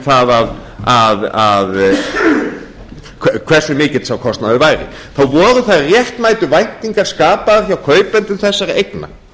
það hversu mikill sá kostnaður væri þá voru þær réttmætu væntingar skapaðar hjá kaupendum þessara eigna